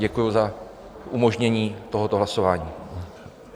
Děkuji za umožnění tohoto hlasování.